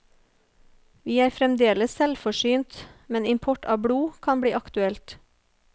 Vi er fremdeles selvforsynt, men import av blod kan bli aktuelt.